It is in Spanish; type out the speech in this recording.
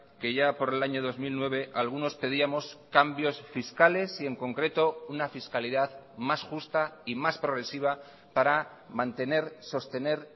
que ya por el año dos mil nueve algunos pedíamos cambios fiscales y en concreto una fiscalidad más justa y más progresiva para mantener sostener